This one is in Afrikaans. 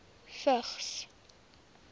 vigs